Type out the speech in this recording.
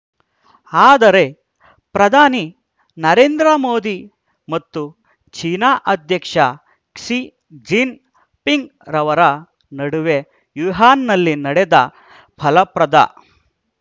ಆದರೆ ಪ್ರಧಾನಿ ನರೇಂದ್ರ ಮೋದಿ ಮತ್ತು ಚೀನಾ ಅಧ್ಯಕ್ಷ ಕ್ಸಿಜಿನ್ ಪಿಂಗ್‌ರವರ ನಡುವೆ ವುಹಾನ್‌ನಲ್ಲಿ ನಡೆದ ಫಲಪ್ರದ